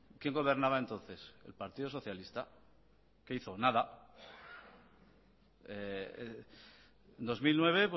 quién gobernaba entonces el partido socialista qué hizo nada dos mil nueve